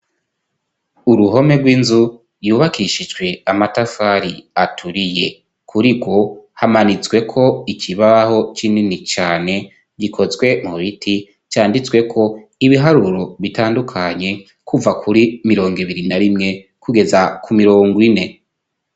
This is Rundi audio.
Uruhome rw'inzu yubakishijwe amatafari aturiye kuri go hamanitswe ko ikibaho c'inini cyane gikozwe mu biti cyanditswe ko ibiharuro bitandukanye kuva kuri mirongo ibiri na rimwe kugeza ku mirongo ine.